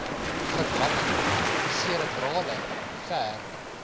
verlamming serebrale ver